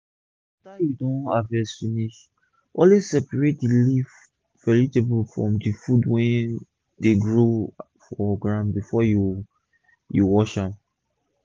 after u don harvest finish always separate d leaf vegetable from d food wey dey grow for ground before u u wash dem